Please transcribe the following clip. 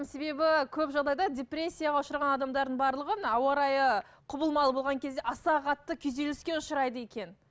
себебі көп жағдайда депрессияға ұшыраған адамдардың барлығы мына ауа райы құбылмалы болған кезде аса қатты күйзеліске ұшырайды екен